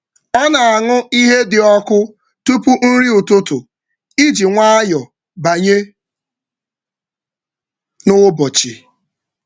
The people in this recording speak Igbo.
Ọ na-aṅụ ihe dị ọkụ tupu nri ụtụtụ iji nwayọọ banye n’ụbọchị.